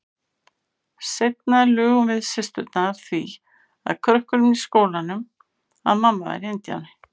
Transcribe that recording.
Seinna lugum við systurnar því að krökkunum í skólanum að mamma væri indíáni.